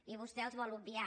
i vostè els vol obviar